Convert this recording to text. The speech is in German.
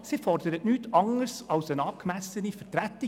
Sie fordert nichts anderes als eine angemessene Vertretung.